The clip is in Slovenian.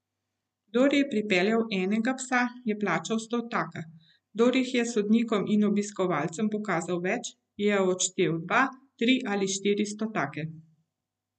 Kdor je pripeljal enega psa, je plačal stotaka, kdor jih je sodnikom in obiskovalcem pokazal več, je odštel dva, tri ali štiri stotake.